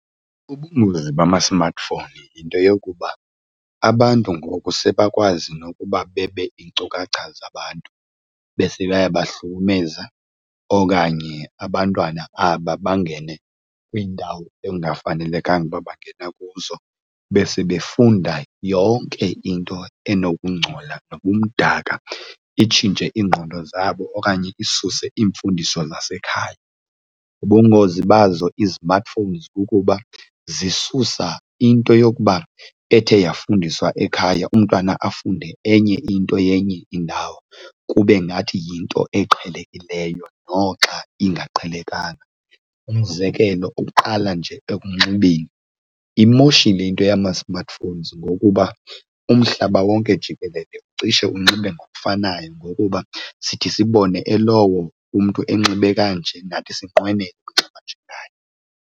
Ubungozi bama-smartphone yinto yokuba abantu ngoku sebakwazi nokuba bebe iinkcukacha zabantu, bese bayabahlukumeza. Okanye abantwana aba bangene kwiindawo ekungafanelekanga ukuba bangena kuzo bese befunda yonke into enokungcola nobumdaka, itshintshe iingqondo zabo okanye isuse iimfundiso zasekhaya. Bubungozi bazo izimatifowunzi kukuba zisusa into yokuba ethe yafundiswa ekhaya, umntwana afunde enye into yenye indawo kube ngathi yinto eqhelekileyo noxa ingaqhelekanga. Umzekelo, uqala nje ekukunxibeni. Imoshile into yama-smartphones ngokuba umhlaba wonke jikelele cishe unxibe ngokufanayo ngokuba sithi sibone elowo umntu enxibe kanje nathi sinqwenele unxiba njengaye.